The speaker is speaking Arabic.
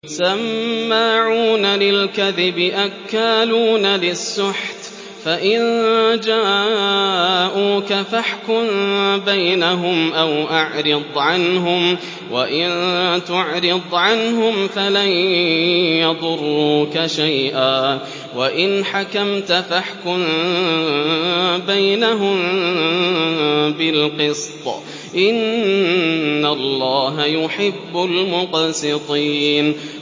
سَمَّاعُونَ لِلْكَذِبِ أَكَّالُونَ لِلسُّحْتِ ۚ فَإِن جَاءُوكَ فَاحْكُم بَيْنَهُمْ أَوْ أَعْرِضْ عَنْهُمْ ۖ وَإِن تُعْرِضْ عَنْهُمْ فَلَن يَضُرُّوكَ شَيْئًا ۖ وَإِنْ حَكَمْتَ فَاحْكُم بَيْنَهُم بِالْقِسْطِ ۚ إِنَّ اللَّهَ يُحِبُّ الْمُقْسِطِينَ